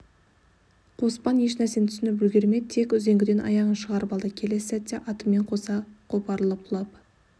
қоспан еш нәрсені түсініп үлгермей тек үзеңгіден аяғын шығарып алды келесі сәтте атымен қоса қопарылып құлап